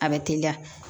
A bɛ teliya